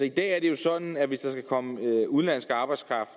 i dag er det jo sådan at hvis der skal komme udenlandsk arbejdskraft